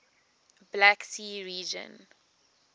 black sea region